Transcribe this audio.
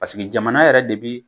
Paseke jamana yɛrɛ de bi